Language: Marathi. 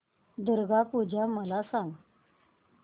दुर्गा पूजा मला सांग